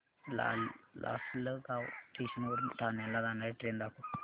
Lasalgaon station वरून ठाण्याला जाणारी ट्रेन दाखव